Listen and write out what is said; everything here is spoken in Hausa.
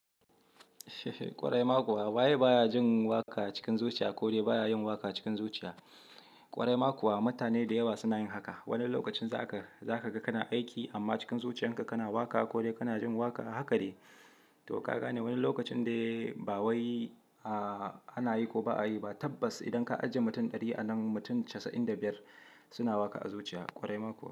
Kwarai ma kuwa, waye baya jin waƙa cikin zuciya ko dai baya yin waƙa cikin zuciya. Kwarai ma kuwa mutane da yawa suna yin haka. Wani lokacin za ka, za ka ga kana aiki amma cikin zuciyarka kana waƙa ko dai kana jin waƙa, haka de. To kaga ne wani lokacin dai ba wai a ana yi ko ba a yi ba. Tabbas idan ka ajiye mutum ɗari a nan mutum casa'in da biyar suna waƙa a zuciya. Kwarai ma kuwa.